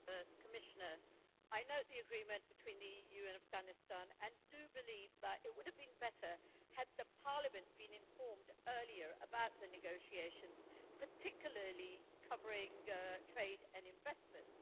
Mr President, I note the agreement between the EU and Afghanistan and do believe that it would have been better had Parliament been informed earlier about the negotiations, particularly covering trade and investments.